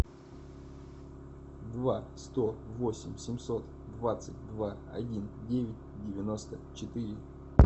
два сто восемь семьсот двадцать два один девять девяносто четыре